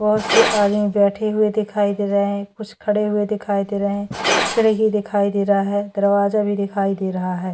भोत से आदमी बैठे हुए दिखाई दे रहे है कुछ खड़े हुए दिखाई दे रहे है खिड़की दिखाई दे रहा है दरवाजा भी दिखाई दे रहा है।